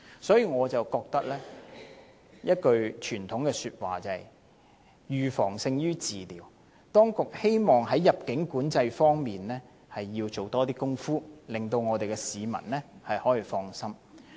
所以，我想起一句傳統的說話，就是"預防勝於治療"，希望當局在入境管制方面多做一些工夫，令市民可以放心。